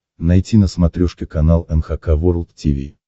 найти на смотрешке канал эн эйч кей волд ти ви